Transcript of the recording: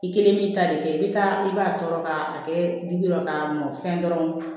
I kelen b'i ta de kɛ i bɛ taa i b'a tɔɔrɔ k'a kɛ bi dɔrɔn k'a mɔn fɛn dɔrɔn